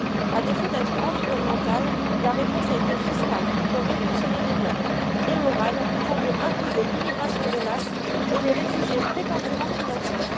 À défaut d'être environnementale, la réponse a été fiscale, pour mieux ponctionner les peuples, et morale, pour mieux imposer l'immigration de masse et les réfugiés prétendument climatiques.